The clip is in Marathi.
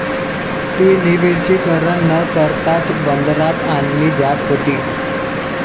ती निर्विषीकरण न करताच बंदरात आणली जात होती.